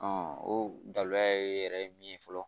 o dalila yɛrɛ ye min ye fɔlɔ